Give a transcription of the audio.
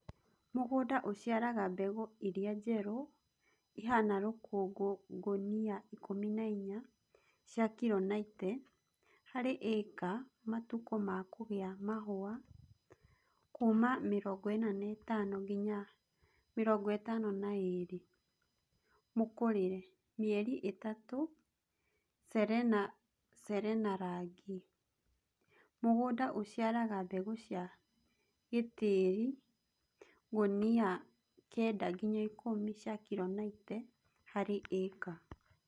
Mũgũnda ũciaraga mbegũ iria njerũ ihana rũkũngũ ngũnia 14 (cia kilo 90 ) harĩ ĩka Matukũ ma kũgĩa mahũa: 45-52 Mũkũrĩre: mĩeri 3 Serena Serena Rangi: Mũgũnda ũciaraga mbegũ cia gĩtĩri :ngũnia 9-10 (cia kilo 90 ) harĩ ĩka